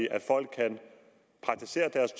at folk kan praktisere deres